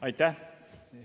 Aitäh!